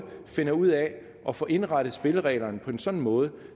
finder ud af at få indrettet spillereglerne på en sådan måde